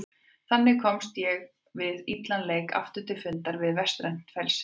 Þannig komst ég við illan leik aftur til fundar við vestrænt frelsi.